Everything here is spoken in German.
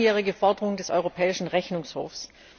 Das sind langjährige Forderungen des Europäischen Rechnungshofs.